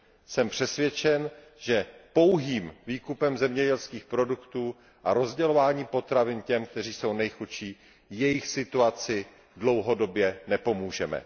Jsem přesvědčen, že pouhým výkupem zemědělských produktů a rozdělováním potravin těm, kteří jsou nejchudší, jejich situaci dlouhodobě nepomůžeme.